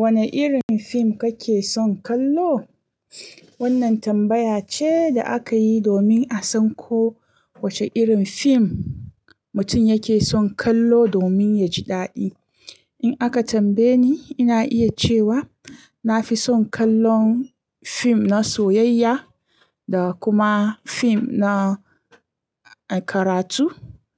Wane irin fim kake son kallo? Wannan tambaya ce da aka yi domin a san ko wace irin fim mutum yake son kallo domin ya ji daɗi. In aka tambaye ni, ina iya cewa na fi son kallon fim na soyayya, da kuma fim na karatu,